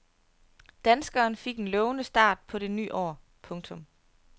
Danskeren fik en lovende start på det ny år. punktum